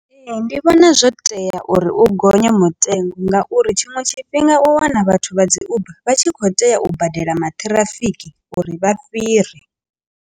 Ee, ndi vhona zwo tea uri u gonya mutengo ngauri tshiṅwe tshifhinga u wana vhathu vha dzi uber vha tshi kho tea u badela maṱhirafiki uri vha fhire.